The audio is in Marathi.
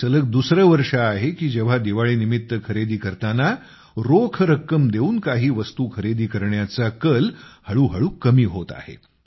हे सलग दुसरे वर्ष आहे की जेव्हा दिवाळीनिमित्त खरेदी करताना रोख रक्कम देऊन काही वस्तू खरेदी करण्याचा कल हळूहळू कमी होत आहे